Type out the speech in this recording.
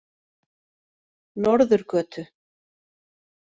Norðurgötu